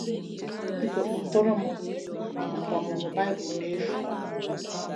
□ Biko kpọtụrụ m maka ọmụmụ Bible n'efu.